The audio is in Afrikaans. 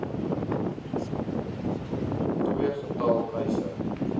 ii getal eise